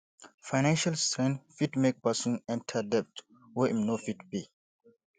financial strain fit make person enter debt wey im no fit pay